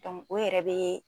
Dɔnku o yɛrɛ bee